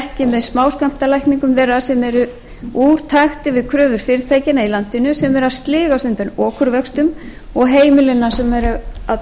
með smáskammtalækningum þeirra sem eru úr takti við kröfur fyrirtækjanna í landinu sem eru að sligast undan okurvöxtum og heimilanna sem er að blæða út